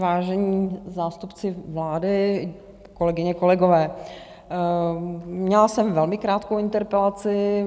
Vážení zástupci vlády, kolegyně, kolegové, měla jsem velmi krátkou interpelaci.